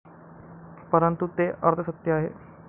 परंतु, ते अर्धसत्य आहे.